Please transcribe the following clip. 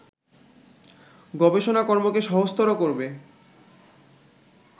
গবেষণাকর্মকে সহজতর করবে